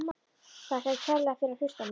Þakka þér kærlega fyrir að hlusta á mig!